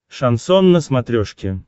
шансон на смотрешке